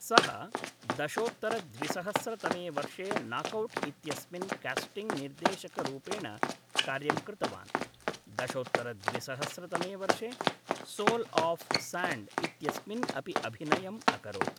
सः दशोत्तर द्विसहस्र तमे वर्षे नाक् औट् इत्यस्मिन् कास्टिङ्ग् निर्देशक रूपेण कार्यं कृतवान् । दशोत्तर द्विसहस्र तमे वर्षे सोल् आफ् साण्ड् इत्यस्मिन् अपि अभिनयम् अकरोत् ।